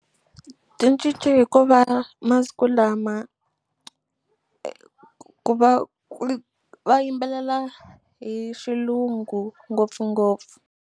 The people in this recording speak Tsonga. Ti cince hikuva masiku lama ku va va yimbelela hi xilungu ngopfungopfu.